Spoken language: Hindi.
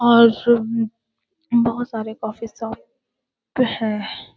और बहुत सारे कॉफी शॉप है।